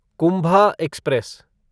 Kumbha express